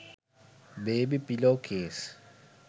baby pillow case